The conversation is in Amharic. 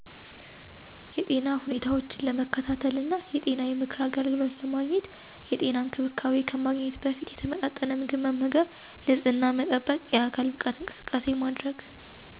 የጤና ሁኔታዎችን ለመከታተልና የጤና የምክር አገልግሎት ለመግኘት። የጤና እንክብካቤ ከማግኘት በፊት የተመጣጠነ ምግብ መመገብ፣ ንጽሕና መጠበቅ የአካል ብቃት እንቅስቃሴ ማድረግ